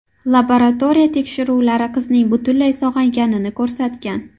Laboratoriya tekshiruvlari qizning butunlay sog‘ayganini ko‘rsatgan .